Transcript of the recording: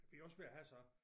Vi er også ved at have så